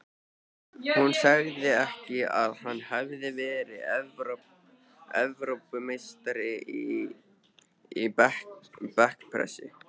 Sagði hún ekki að hann hefði verið Evrópumeistari í bekkpressu?